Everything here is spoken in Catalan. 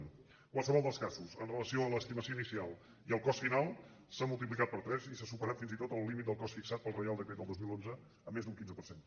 en qualsevol dels casos amb relació a l’estimació inicial i al cost final s’ha multiplicat per tres i s’ha superat fins i tot el límit del cost fixat pel reial decret del dos mil onze en més d’un quinze per cent